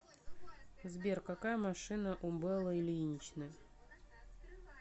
сбер какая машина у беллы ильиничны